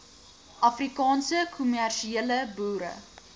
afrikaanse kommersiële boere